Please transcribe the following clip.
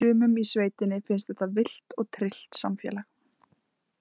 Sumum í sveitinni finnst þetta villt og tryllt samfélag.